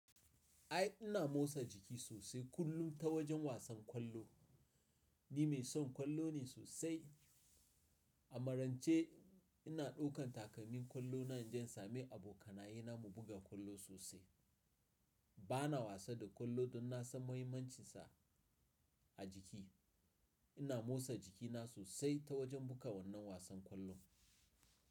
Ai ina motsa jiki sosai kullum ta wajen wasan ƙwallo. Ni mai son ƙwallo ne sosai. A marance ina ɗaukan takalmin ƙwallo na injin sami abokanaye na mu buga ƙwallo sosai. Bana wasa da ƙwallo don na san muhimmancinsa a jiki. Ina motsa jikina sosai ta wajen buga wannan wasan ƙwallo.